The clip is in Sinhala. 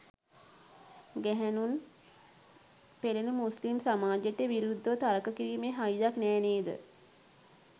ගැහැණුන් පෙළන මුස්ලිම් සමාජයට විරුද්ධව තර්ක කිරීමේ හයියක් නෑ නේද?